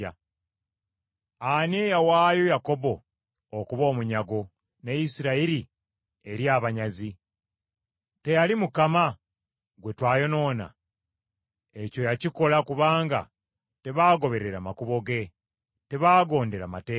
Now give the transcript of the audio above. Ani eyawaayo Yakobo okuba omunyago ne Isirayiri eri abanyazi? Teyali Mukama gwe twayonoona? Ekyo yakikola kubanga tebaagoberera makubo ge. Tebaagondera mateeka ge.